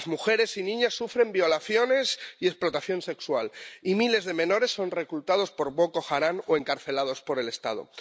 Las mujeres y niñas sufren violaciones y explotación sexual y miles de menores son reclutados por Boko Haram o encarcelados por el Estado.